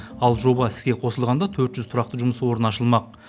ал жоба іске қосылғанда төрт жүз тұрақты жұмыс орны ашылмақ